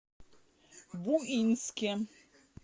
буинске